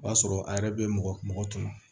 O y'a sɔrɔ a yɛrɛ bɛ mɔgɔ tɔmɔ